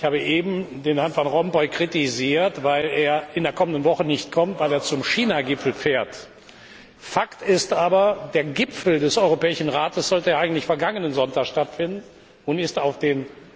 Ich habe eben Herrn van Rompuy kritisiert, weil er in der kommenden Woche nicht kommt, weil er zum China Gipfel fährt. Fakt ist aber, der Gipfel des Europäischen Rates sollte eigentlich vergangenen Sonntag stattfinden und ist auf den